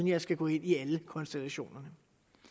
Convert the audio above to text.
jeg skal gå ind i alle konstellationerne